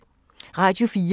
Radio 4